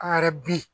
An yɛrɛ bi